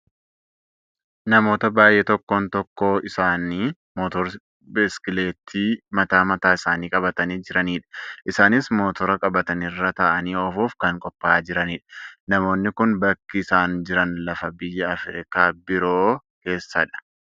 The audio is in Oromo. Namoota baay'ee tokkoon tokkoo isaanii motor biskileettii mataa mataa isaanii qabatanii jiranidha. Isaanis motora qabatanirra taa'anii ofuuf kan qophaa'aa jiranidha. Namoonni kun bakki isaan jiran lafa biyya Afrikaa biroo keessadha.